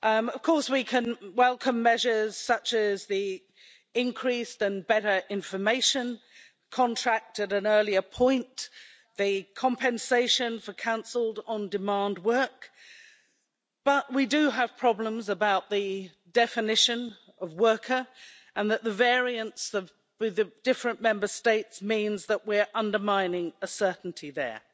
Of course we can welcome measures such as the increased and better information contract at an earlier point, the compensation for cancelled on-demand work, but we do have problems about the definition of worker' and that the variants with the different Member States means that we're undermining a certainty there.